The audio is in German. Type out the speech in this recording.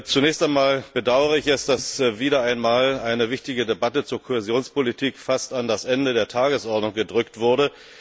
Zunächst einmal bedauere ich es, dass wieder einmal eine wichtige Debatte zur Kohäsionspolitik fast an das Ende der Tagesordnung gedrückt wurde.